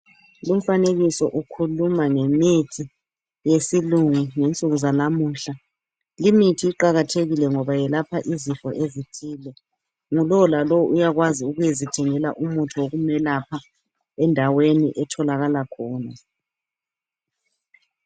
Lumfanekiso ukhuluma ngemithi yesilungu ngensuku zanamuhla. Limithi iqakathekile ngoba yelapha izifo ezithile. Ngulowo lalowo uyakwazi ukuyezithengela umuthi wokumelapha endaweni etholakala khona.